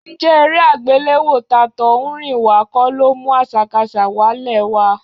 Ǹjẹ́ eré àgbéléwò tàtọ̀húnrìnwá kọ́ ló mú àṣàkaṣà wálẹ̀ wa?